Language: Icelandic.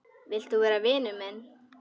Vilt þú vera vinur minn?